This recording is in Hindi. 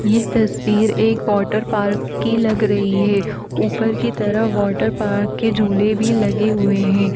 यह तस्वीर एक वाटरपार्क की लग रही है। ऊपर की तरफ वाटरपार्क के झूले भी लगे हुए हैं।